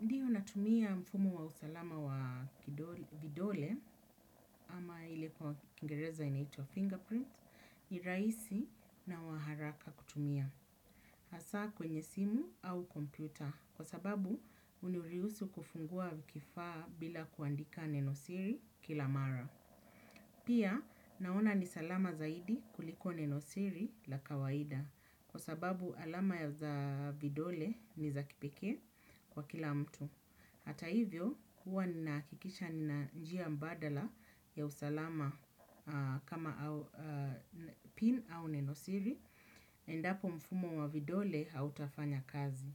Ndiyo natumia mfumo wa usalama wa vidole ama ile kwa kingereza inaitwa fingerprint, ni rahisi na wa haraka kutumia. Hasa kwenye simu au kompyuta kwa sababu huniruhusu kufungua kifaa bila kuandika nenosiri kila mara. Pia naona ni salama zaidi kuliko nenosiri la kawaida kwa sababu alama za vidole ni za kipekee kwa kila mtu. Hata hivyo, huwa ninahakikisha nina njia mbadala ya usalama kama pin au nenosiri, endapo mfumo wa vidole hautafanya kazi.